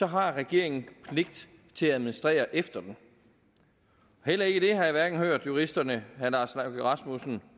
har regeringen pligt til at administrere efter den heller ikke det har jeg hørt juristerne herre lars løkke rasmussen